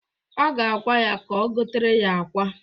Ọ ga-agwa ya ka o gotere ya akwa.